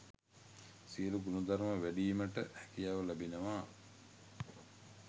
සියලු ගුණධර්ම වැඩීමට හැකියාව ලැබෙනවා.